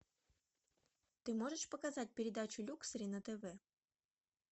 ты можешь показать передачу люксери на тв